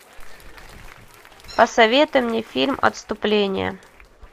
посоветуй мне фильм отступление